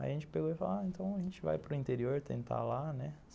Aí a gente pegou e falou ah, então a gente vai para o interior tentar lá, né?